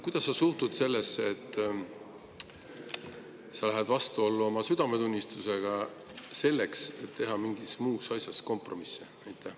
Kuidas sa suhtud sellesse, et sa lähed vastuollu oma südametunnistusega, selleks et teha mingis muus asjas kompromisse?